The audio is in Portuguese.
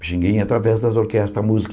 Pichinguinha, através das orquestras, a música.